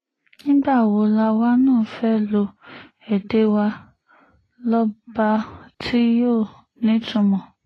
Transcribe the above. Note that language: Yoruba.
nígbà wo làwa náà fẹ́ẹ́ lo èdè wa lọ́ba tí yóò nítumọ̀